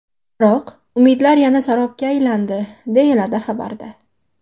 Biroq, umidlar yana sarobga aylandi”, deyiladi xabarda.